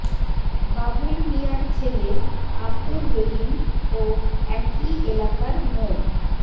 বাবুল মিয়ার ছেলে আব্দুর রহিম ও একই এলাকার মো